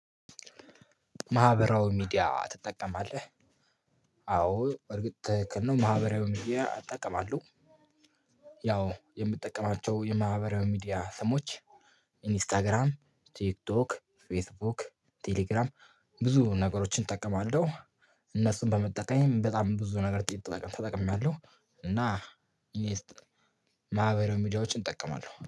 ማህበራዊ ሚዲያ ትጠቀማለህ አዎ በ እርግጥ ክህን ነው ማህበራዊ ሚዲያ አጠቀማለሁ። ያው የምጠቀማቸው የማህበራዊ ሚዲያ ሰሞች ኢንስታግራም ቲክቶክ ፌስቡክ ቴሌግራም ብዙ ነገሮችን እጠቀማለሁ። እነሱን በመጠቀም በጣም ብዙ ነገር ተጠቅሜያለሁ። እና እኔ ማህበራዊ ሚዲያዎችን እጠቀማለሁ